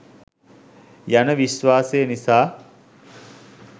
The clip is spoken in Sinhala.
යන විශ්වාසය නිසා